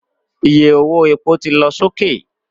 Iye owó epo ti lọ sókè